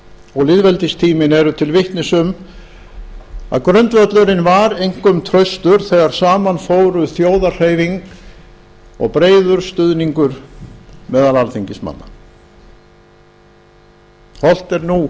og lýðveldistíminn eru til vitnis um að grundvöllurinn var einkum traustur þegar saman fóru þjóðarhreyfing og breiður stuðningur meðal alþingismanna hollt er nú